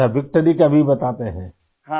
اچھا ، وکٹری کا وی بناتے ہیں؟